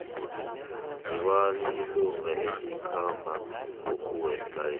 ngubani ilunga elikhambako kuwest life